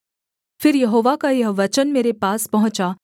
फिर यहोवा का यह वचन मेरे पास पहुँचा